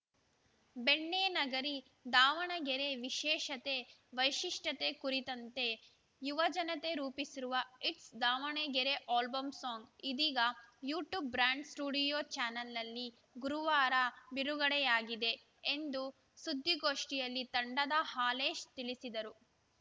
ಬೆಣ್ಣೆ ನಗರಿ ದಾವಣಗೆರೆ ವಿಶೇಷತೆ ವೈಶಿಷ್ಟ್ಯತೆ ಕುರಿತಂತೆ ಯುವ ಜನತೆ ರೂಪಿಸಿರುವ ಇಟ್ಸ್‌ ದಾವಣಗೆರೆ ಆಲ್ಬಂ ಸಾಂಗ್‌ ಇದೀಗ ಯು ಟ್ಯೂಬ್‌ ಬ್ರಾಂಡ್‌ ಸ್ಟುಡಿಯೋ ಚಾನಲ್‌ನಲ್ಲಿ ಗುರುವಾರ ಬಿಡುಗಡೆಯಾಗಿದೆ ಎಂದು ಸುದ್ದಿಗೋಷ್ಠಿಯಲ್ಲಿ ತಂಡದ ಹಾಲೇಶ್‌ ತಿಳಿಸಿದರು